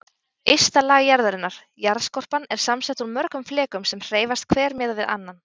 Ysta lag jarðarinnar, jarðskorpan, er samsett úr mörgum flekum sem hreyfast hver miðað við annan.